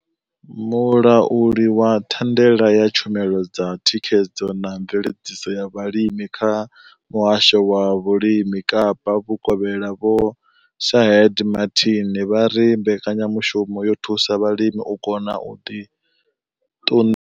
Mulauli wa thandela ya tshumelo dza thikhedzo na mveledziso ya vhulimi kha muhasho wa vhulimi Kapa vhukovhela Vho Shaheed Martin vha ri mbekanyamushumo yo thusa vhalimi u kona u ḓi ṱu.